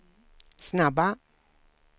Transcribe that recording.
snabba